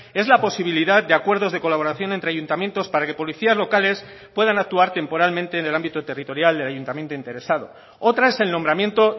es la posibilidad de acuerdos de colaboración entre ayuntamientos para que policías locales puedan actuar temporalmente en el ámbito territorial del ayuntamiento interesado otra es el nombramiento